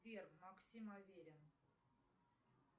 сбер максим аверин